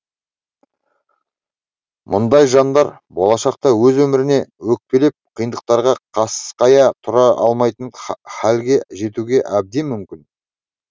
мұндай жандар болашақта өз өміріне өкпелеп қиындықтарға қасқая тұра алмайтын халге жетуге әбден мүмкін